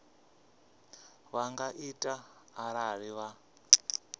vha nga ita arali vha